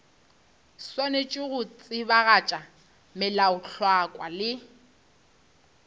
swanetše go tsebagatša melaotlhakwa le